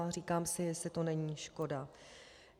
A říkám si, jestli to není škoda.